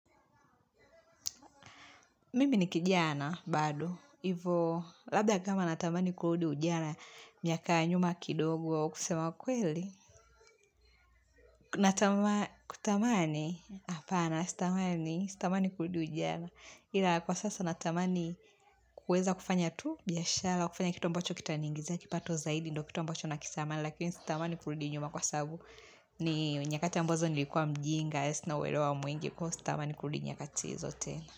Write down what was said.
Mimi ni kijana, bado. Ivo, labda kama natamani kurudi ujana, miaka ya nyuma kidogo kusema kweli. Kutamani, hapana, sitamani, sitamani kurudi ujana. Ila kwa sasa natamani kuweza kufanya tu, biashara, kufanya kitu ambacho kitaniingizia, kipato zaidi, ndo kitu ambacho nakisama, lakini sitamani kurudi nyuma kwa sabu ni nyakati ambazo nilikuwa mjinga, sina uerewa mwingi, ko sitamani kurudi nyakati hizo tena.